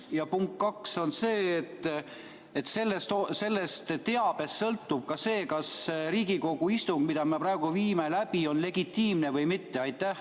Ja punkt kaks on see, et sellest teabest sõltub, kas Riigikogu istung, mida me praegu läbi viime, on legitiimne või mitte.